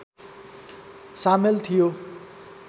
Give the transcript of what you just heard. सामेल थियो